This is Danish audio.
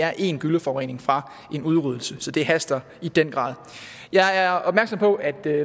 er én gylleforurening fra en udryddelse så det haster i den grad jeg er opmærksom på at